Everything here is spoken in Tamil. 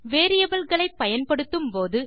வேரியபிள் களை பயன்படுத்தும் போது